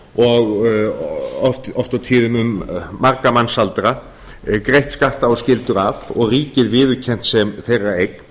og oft og tíðum um marga mannsaldra greitt skatta og skyldur af og ríkið viðurkennt sem þeirra eign